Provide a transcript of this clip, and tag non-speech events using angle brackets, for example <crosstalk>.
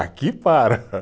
Aqui para. <laughs>